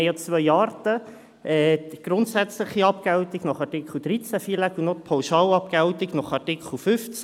Es gibt zwei Arten: die grundsätzliche Abgeltung nach Artikel 13 FILAG und die Pauschalabgeltung nach Artikel 15.